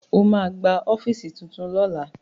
Ó ma gba ọ́fíìsì tuntun lọ́la